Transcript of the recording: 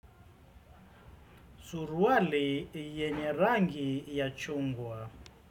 Suruwali yenye rangi yachungwa.